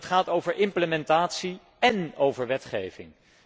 Dat gaat over implementatie én over wetgeving.